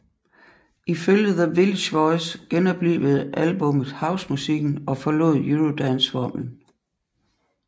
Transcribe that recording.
Ifølge The Village Voice genoplivede albummet housemusikken og forlod eurodanceformlen